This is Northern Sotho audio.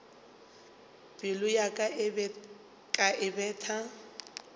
pelo ya ka e betha